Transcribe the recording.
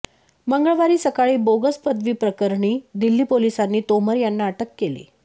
मंगळवारी सकाळी बोगस पदवीप्रकरणी दिल्ली पोलिसांनी तोमर यांना अटक केली